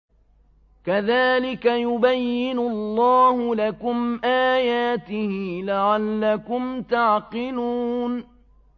كَذَٰلِكَ يُبَيِّنُ اللَّهُ لَكُمْ آيَاتِهِ لَعَلَّكُمْ تَعْقِلُونَ